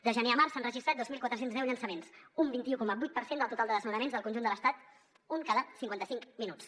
de gener a març s’han registrat dos mil quatre cents i deu llançaments un vint un coma vuit per cent del total de desnonaments del conjunt de l’estat un cada cinquanta cinc minuts